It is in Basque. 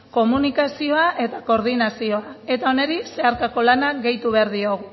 komunikazioa eta koordinazioa eta honi zeharkako lana gehitu behar diogu